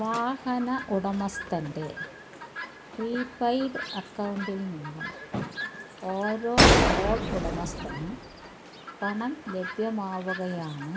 വാഹന ഉടമസ്ഥന്റെ പ്രീപെയ്ഡ് അക്കൌണ്ടിൽ നിന്നും ഓരോ ടോൾ ഉടമസ്ഥനും പണം ലഭ്യമാവുകയാണ്